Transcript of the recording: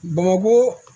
Bamako